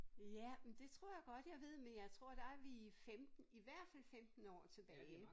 Ja men det tror jeg godt jeg ved men jeg tror der vi 15 i hvert fald 15 år tilbage